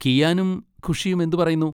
കിയാനും ഖുഷിയും എന്ത് പറയുന്നു?